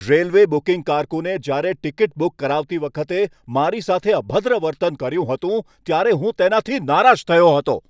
Railway booking કારકુને જ્યારે મારી ટિકિટ બુક કરાવતી વખતે મારી સાથે અભદ્ર વર્તન કર્યું હતું ત્યારે હું તેનાથી નારાજ થયો હતો.